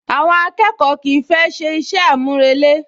Àwọn akẹ́kọ̀ọ́ kìí fẹ́ ṣe iṣẹ́ àmúrelé